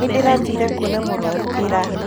Nĩ ndĩraathire kuona mũrwaru ira.